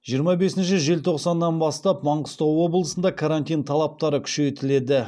жиырма бесінші желтоқсаннан бастап маңғыстау облысында карантин талаптары күшейтіледі